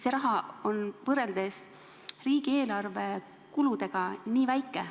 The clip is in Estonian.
See raha on võrreldes riigieelarve kuludega nii väike.